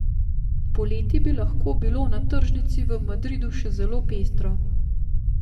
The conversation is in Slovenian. Poleti bi lahko bilo na tržnici v Madridu še zelo pestro ...